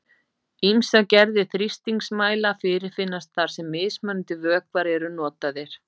Ýmsar gerðir þrýstingsmæla fyrirfinnast þar sem mismunandi vökvar eru notaðir.